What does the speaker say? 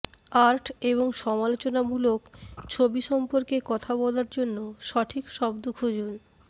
art এবং সমালোচনামূলক ছবি সম্পর্কে কথা বলার জন্য সঠিক শব্দ খুঁজুন